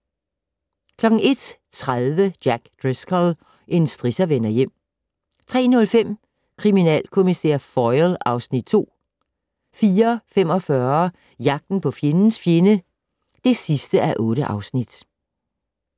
01:30: Jack Driscoll - en strisser vender hjem 03:05: Kriminalkommissær Foyle (Afs. 2) 04:45: Jagten på fjendens fjende (8:8)